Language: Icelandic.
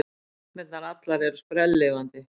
Sagnirnar allar eru sprelllifandi.